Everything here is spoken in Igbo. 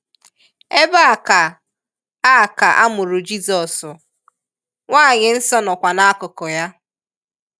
Ebe a ka a ka a mụrụ Jịzọs, Nwanyị Nsọ nọkwa n’akụkụ ya.